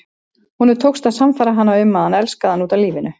Honum tókst að sannfæra hana um að hann elskaði hana út af lífinu.